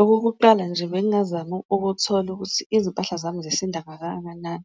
Okokuqala nje bengazama ukuthola ukuthi izimpahla zami zisinda kangakanani,